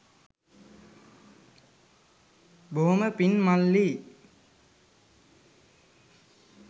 බොහොම පිං මල්ලී